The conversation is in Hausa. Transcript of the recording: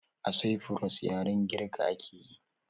A saifuros yaren girka akeyi